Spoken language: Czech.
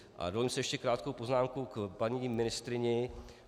A dovolím si ještě krátkou poznámku k paní ministryni.